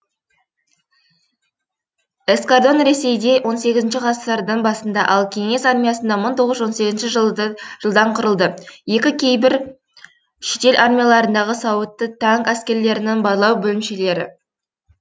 эскардан ресейде он сегізінші ғасырдың басында ал кеңес армиясында мың тоғыз жүз он сегізінші жылдан құрылды екі кейбір шетел армияларындағы сауытты танк әскерлерінің барлау бөлімшелері